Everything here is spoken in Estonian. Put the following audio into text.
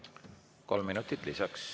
Kolm minutit lisaks.